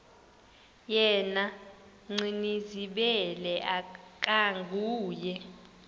yena gcinizibele akanguye